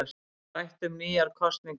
Rætt um nýjar kosningar